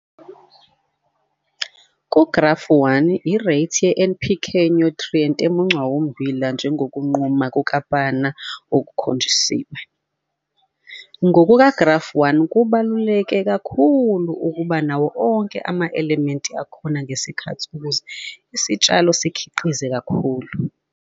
Ku-Grafu 1, ireythi ye-NPK nyuthrienti emuncwa ummbila njengokunquma kukaPannar okukhonjisiwe. NgokukaGrafu 1 kubaluleke kakhulu ukuba nawo onke ama-elementi akhona ngesikhathi ukuze isitshalo sikhiqize kakhulu.